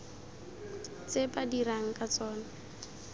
tse ba dirang ka tsona